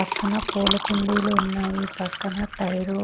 పక్కన పూలకుండీలు ఉన్నాయి పక్కన టైరు .